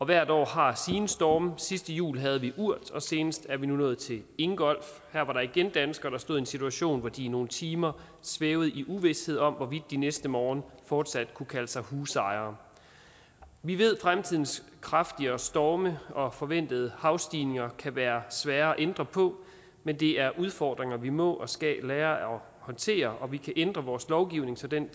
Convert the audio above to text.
hvert år har sine storme sidste jul havde vi urd og senest er vi nu nået til ingolf her var der igen danskere der stod i en situation hvor de i nogle timer svævede i uvished om hvorvidt de næste morgen fortsat kunne kalde sig husejere vi ved at fremtidens kraftigere storme og forventede havstigninger kan være svære at ændre på men det er udfordringer vi må og skal lære at håndtere vi kan ændre vores lovgivning så den